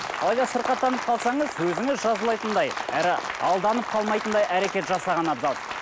алайда сырқаттанып қалсаңыз әрі алданып қалмайтындай әрекет жасаған абзал